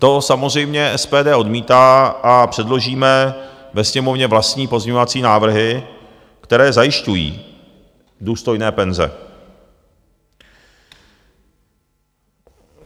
To samozřejmě SPD odmítá a předložíme ve Sněmovně vlastní pozměňovací návrhy, které zajišťují důstojné penze.